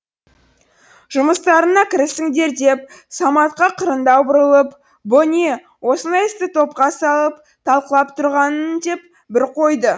жұмыстарыңа кірісіңдер деп саматқа қырындау бұрылып бұ не осындай істі топқа салып талқылап тұрғаның деп бір қойды